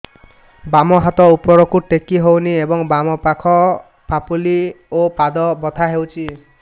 ବାମ ହାତ ଉପରକୁ ଟେକି ହଉନି ଏବଂ ବାମ ପାଖ ପାପୁଲି ଓ ପାଦ ବଥା ହଉଚି